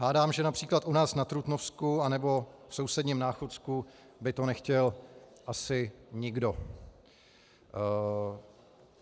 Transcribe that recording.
Hádám, že například u nás na Trutnovsku nebo v sousedním Náchodsku by to nechtěl asi nikdo.